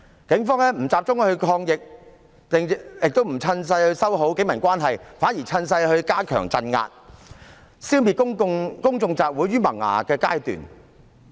警方不集中抗疫，亦不趁勢修好警民關係，反而趁勢加強鎮壓，消滅公眾集會於萌芽的階段。